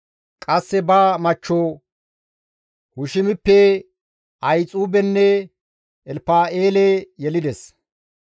Qasse ba machcho Hushimippe Ahixuubenne Elpa7eele yelides.